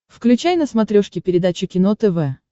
включай на смотрешке передачу кино тв